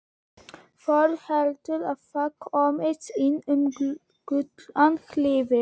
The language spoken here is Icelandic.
Fólk heldur að það komist inn um Gullna hliðið.